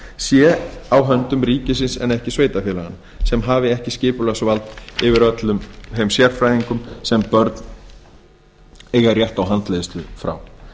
sé á höndum ríkisins en ekki sveitarfélaganna sem hafi ekki skipulagsvald yfir öllum þeim sérfræðingum sem börn eiga rétt á handleiðslu frá